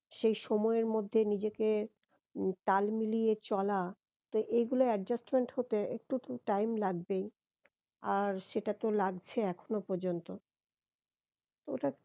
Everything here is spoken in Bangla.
সেই সময়ের মধ্যে নিজেকে উহ তাল মিলিয়ে চলা তো এগুলো adjustment হতে একটু তো time লাগবেই আর সেটা তো লাগছে এখনো পর্যন্ত তা ওটা